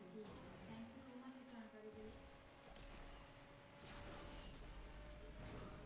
ਠੀਕ ਆ ਜੀ thank you so much ਇਸ ਜਾਣਕਾਰੀ ਦੇ ਲਈ